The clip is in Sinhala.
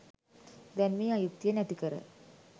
දැන් මේ අයුක්තිය නැතිකර